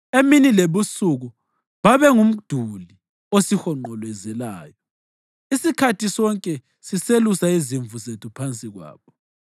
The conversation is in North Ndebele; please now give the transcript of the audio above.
Emini lebusuku babengumduli osihonqolozelayo isikhathi sonke siselusela izimvu zethu phansi kwabo.